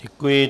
Děkuji.